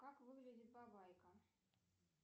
как выглядит бабайка